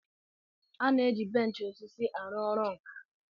A na-eji arụ ọrụ arụ ọrụ arụ ọrụ.